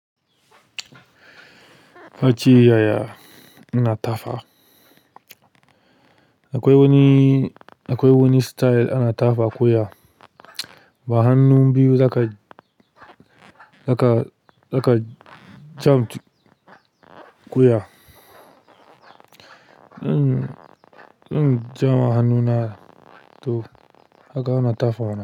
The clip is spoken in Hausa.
Kace yaya ina tafa. Akwai wani, akwai wani style ana tafa wa ko ya ba hannun biyu za ka, za ka, za ka. Mumbles in, in gyara hannuna to ka ga ana tafa.